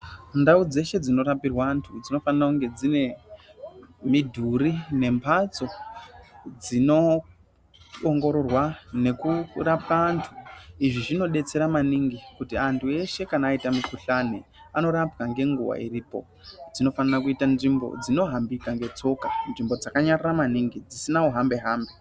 Ndau dzeshe dzinorapirwa antu dzinofanira kunge dzine midhuri nembatso dzinoongororwa nekurapa antu izvi zvinodetsera maningi kuti antu eshe kana aita mikuhlani anorapwa ngenguwa iripo, dzinofanira kuita nzvimbo dzinohambika netsoka, nzvimbo dzakanyarara maningi dzisina uhambe hambe